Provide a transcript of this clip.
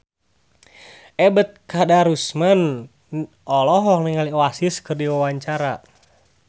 Ebet Kadarusman olohok ningali Oasis keur diwawancara